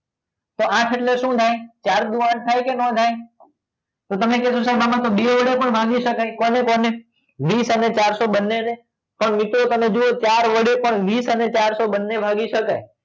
તો આઠ એટલે શું થાય ચાર દુ આઠ થાય કે ન થાય તો તમે કીધું સાહેબ આમાં બે વડે પણ ભાગી શકાય કોને કોને વીસ અને ચારસો બંનેને પણ નીચે જુઓ તમે ચાર વડે પણ વીસ અને ચારસો બંને ભાગી શકાય